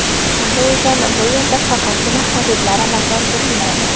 Shunday ekan bu yerda faqatgina xaridlar amalga oshirilmaydi!